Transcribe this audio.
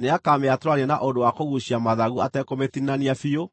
Nĩakamĩatũrania, na ũndũ wa kũguucia mathagu atekũmĩtinania biũ,